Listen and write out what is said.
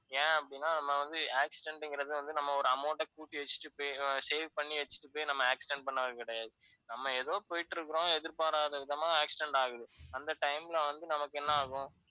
ஏன் அப்படின்னா நம்ம வந்து accident ன்றது நம்ம வந்து ஒரு amount ஐ கூட்டி வச்சுட்டு போய் save பண்ணி வச்சுட்டு போய் நம்ம accident பண்றது கிடையாது. நம்ம ஏதோ போயிட்டு இருக்குறோம் எதிர்பாராதவிதமா accident ஆகுது. அந்த time ல வந்து நமக்கு என்ன ஆகும்,